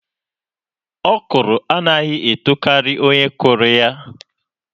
Ọkrọ anaghị etokari onye kụrụ ya.